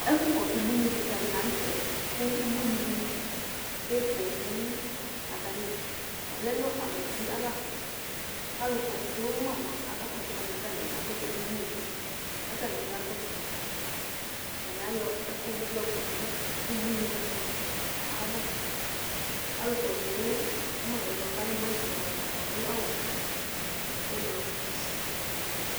Ɛfʋkɔsʋ ubuinɩ kɩka dɩ la nʋ tɛ kʋ ubuinɩ dɩ tsue poo Atanɩ vlɛ nʋ abatɩ ava kʋ alʋkɔsʋ ma mʋa, akakɔsʋ ma kʋ atanɩ kɔ ɛkʋ dʋ nʋ iyo kʋ atanɩ kakɔsʋ ma Atanɩ ayɔ ɛkʋɛdɩ bɩ yɔkɔdʋ ubuinɩ wanɩ ava Alʋkɔsʋ ma yɛ mʋa, kʋ alɛ nɔsɩ yɛ mʋa, atanɩ adʋ awʋ ɛblɔ